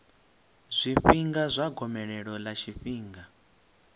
zwifhinga zwa gomelelo ḽa tshifhinga